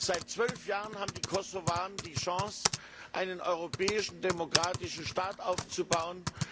Seit zwölf Jahren haben die Kosovaren die Chance, einen europäischen demokratischen Staat aufzubauen.